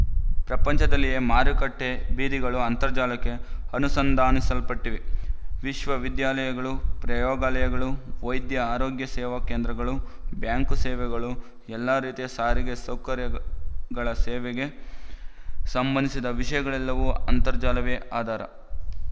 ಪ್ರಪಂಚದಲ್ಲಿಯ ಮಾರುಕಟ್ಟೆ ಬೀದಿಗಳು ಅಂತರ್ಜಾಲಕ್ಕೆ ಅನುಸಂಧಾನಿಸಲ್ಪಟ್ಟಿವೆ ವಿಶವವಿದ್ಯಾಲಯಗಳು ಪ್ರಯೋಗಾಲಯಗಳು ವೈದ್ಯ ಆರೋಗ್ಯ ಸೇವಾಕೇಂದ್ರಗಳು ಬ್ಯಾಂಕು ಸೇವೆಗಳು ಎಲ್ಲಾ ರೀತಿಯ ಸಾರಿಗೆ ಸೌಕರ್ಯಗಳ ಸೇವೆಗಳಿಗೆ ಸಂಬಂಧಿಸಿದ ವಿಶಯಗಳೆಲ್ಲವುಗಳಿಗೆ ಅಂತರ್ಜಾಲವೇ ಆಧಾರ